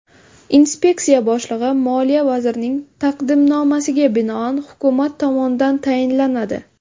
Inspeksiya boshlig‘i Moliya vazirining taqdimnomasiga binoan Hukumat tomonidan tayinlanadi.